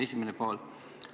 See on esimene küsimus.